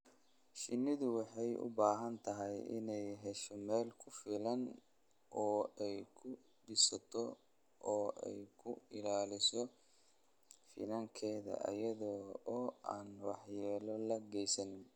Shinnidu waxay u baahan tahay inay hesho meel ku filan oo ay ku dhisato oo ay ku ilaaliso finankeeda iyada oo aan waxyeello loo geysan.